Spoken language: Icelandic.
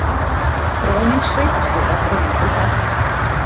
Ráðning sveitarstjóra dregin til baka